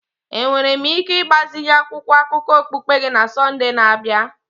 Enwere m ike ịgbazinye akwụkwọ akụkọ okpukpe gị na Sọnde na-abịa?